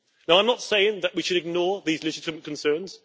I am not saying that we should ignore these legitimate concerns.